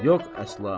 Yox əsla.